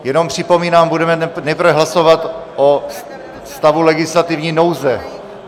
Jenom připomínám, budeme nejprve hlasovat o stavu legislativní nouze.